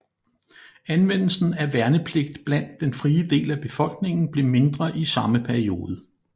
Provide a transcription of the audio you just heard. Anvendelsen af værnepligt blandt den frie del af befolkningen blev mindre i samme periode